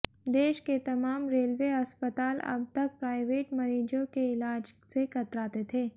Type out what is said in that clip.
देश के तमाम रेलवे अस्पताल अब तक प्राइवेट मरीजों के इलाज से कतराते थे